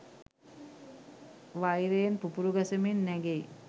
වෛරයෙන් පුපුරු ගසමින් නැගෙයි